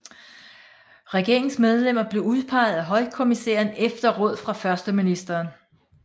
Regeringens medlemmer blev udpegede af højkommissæren efter råd fra førsteministeren